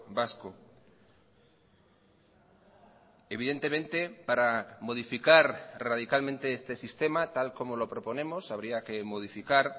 vasco evidentemente para modificar radicalmente este sistema tal como lo proponemos habría que modificar